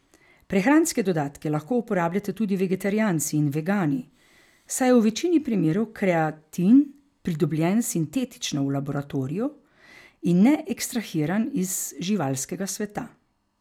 Prehranske dodatke lahko uporabljate tudi vegetarijanci in vegani, saj je v večini primerov kreatin pridobljen sintetično v laboratoriju in ne ekstrahiran iz živalskega sveta.